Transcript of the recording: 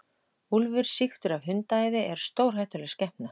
Úlfur sýktur af hundaæði er stórhættuleg skepna.